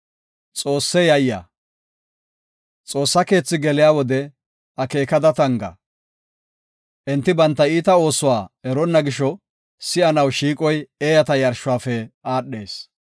Xoossa keethi geliya wode akeekada tanga. Enti banta iita oosuwa eronna gisho, si7anaw shiiqoy eeyata yarshuwafe aadhees.